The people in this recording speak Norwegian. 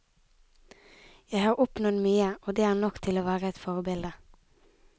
Jeg har oppnådd mye, og det er nok til å være et forbilde.